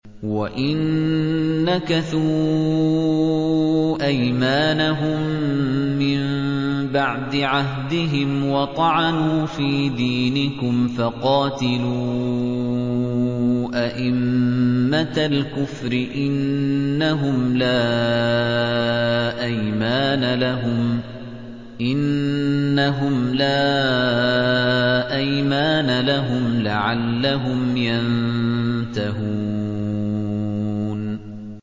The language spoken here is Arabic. وَإِن نَّكَثُوا أَيْمَانَهُم مِّن بَعْدِ عَهْدِهِمْ وَطَعَنُوا فِي دِينِكُمْ فَقَاتِلُوا أَئِمَّةَ الْكُفْرِ ۙ إِنَّهُمْ لَا أَيْمَانَ لَهُمْ لَعَلَّهُمْ يَنتَهُونَ